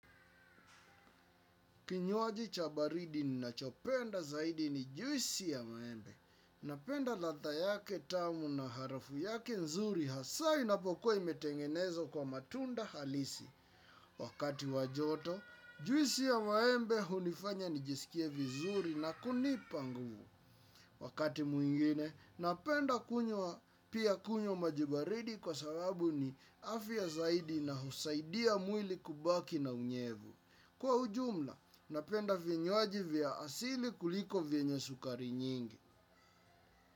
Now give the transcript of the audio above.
Kinywaji cha baridi ninachopenda zaidi ni juisi ya maembe. Napenda ladha yake tamu na harafu yake nzuri hasa inapokuwa imetengenezwa kwa matunda halisi. Wakati wa joto, juisi ya maembe hunifanya nijisikie vizuri na kunipa nguvu. Wakati mwingine, napenda kunywa pia kunywa maji baridi kwa sababu ni afya zaidi na husaidia mwili kubaki na unyevu. Kwa ujumla, napenda vinywaji vya asili kuliko vyenye sukari nyingi.